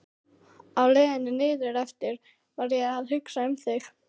Á leiðinni niðureftir var ég að hugsa um þig.